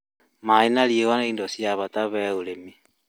Maaĩ na riũa nĩ indo cia bata harĩ ũrĩmi